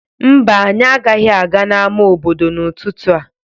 Mba, anyị agaghị aga n'ama obodo n'ụtụtụ a.